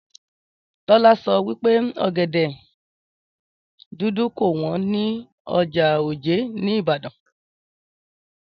Tólá so wípé ògèdè dúdú kò wón ní ọjà òjé ní ìbàdàn